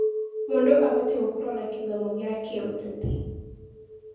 Mũndũ abatiĩ gũkorwo na gĩthomo kĩa kĩũteti.